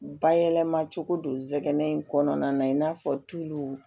Bayɛlɛma cogo don zɛnɛ in kɔnɔna na i n'a fɔ tulu